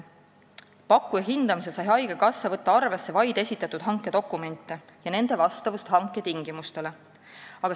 Pakkuja hindamisel sai haigekassa võtta arvesse vaid esitatud hankedokumente ja nende vastavust hanke tingimustele.